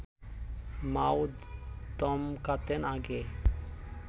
মাও ধমকাতেন আগে